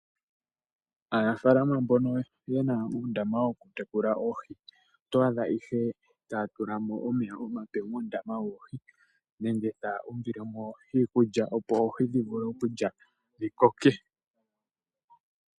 Aanafalama mbono yena uundama woku tekula oohi oto adhaihe taya tula mo omeya omape muundama woohi, nenge taa umbilemo iikulya opo oohi dhi vule okulya dhikoke.